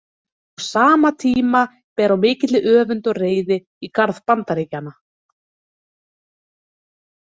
Á sama tíma ber á mikilli öfund og reiði í garð Bandaríkjanna.